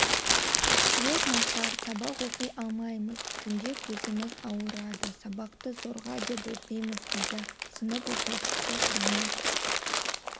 свет нашар сабақ оқи алмаймыз түнде көзіміз ауырады сабақты зорға деп оқимыз дейді сынып оқушысы дамир